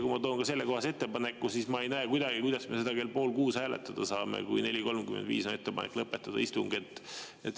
Kui ma toon sellekohase ettepaneku, siis ma ei näe kuidagi, kuidas me seda kell pool kuus hääletada saame, kui on ettepanek lõpetada istung kell 4.35.